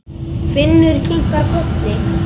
Finnur kinkaði kolli.